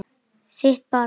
Þitt barn.